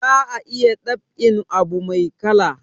Za a iya dab'in abu mai kala